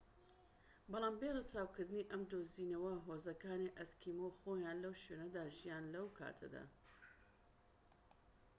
بەڵام بێ ڕەچاوکردنی ئەم دۆزینەوە هۆزەکانی ئەسکیمۆ خۆیان لەو شوێنەدا دەژیان لەو کاتەدا